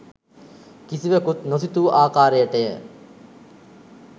කිසිවකුත් නොසිතූ ආකාරයටය.